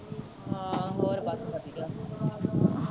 ਹੋਰ ਬਸ ਵਧੀਆ।